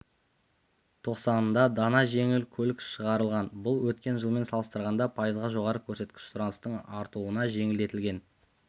тоқсанында дана жеңіл көлік шығарылған бұл өткен жылмен салыстырғанда пайызға жоғары көрсеткіш сұраныстың артуына жеңілдетілген